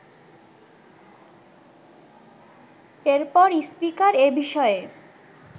এরপর স্পিকার এ বিষয়ে